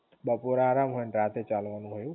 બપોરે આરામ હોય અને રાતે ચાલવાનું હોય એવું?